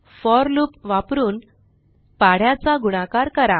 four loop वापरुन पाढ्या चा गुणाकार करा